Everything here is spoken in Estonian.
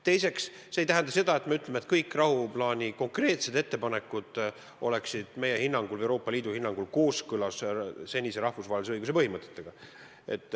Teiseks, see ei tähenda aga seda, et kõik rahuplaani konkreetsed ettepanekud on meie hinnangul, Euroopa Liidu hinnangul kooskõlas seniste rahvusvahelise õiguse põhimõtetega.